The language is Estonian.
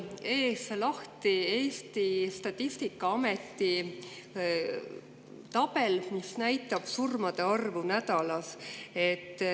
Mul on ees lahti Eesti statistikaameti tabel, mis näitab surmade arvu nädalas.